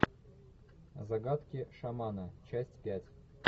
загадки шамана часть пять